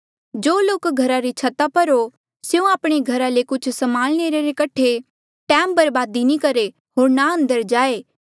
जो लोक घरा री छता पर हो स्यों आपणे घरा ले कुछ समान लेणे रे कठे टैम बर्बाद नी करहे होर ना अंदर जाए